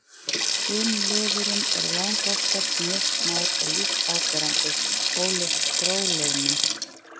Kynliðurinn er langoftast mjög smár og lítt áberandi, ólíkt gróliðnum.